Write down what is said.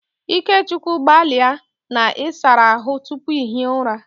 Ikechukwu gbalia na ị sara ahụ tupu ị hie ụra!